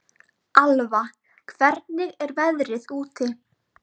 Alva, hvernig er veðrið úti?